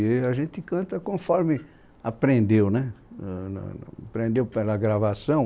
E a gente canta conforme aprendeu né, no no aprendeu pela gravação.